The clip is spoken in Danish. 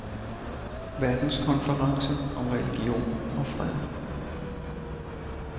Verdenskonference om religion og fred.